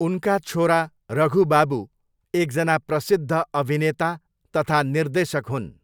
उनका छोरा रघु बाबु एकजना प्रसिद्ध अभिनेता तथा निर्देशक हुन्।